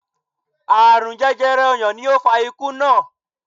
Aarun jẹjẹrẹ ọyàn ni ó fa ikú naa